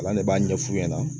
Ala ne b'a ɲɛ f'u ɲɛna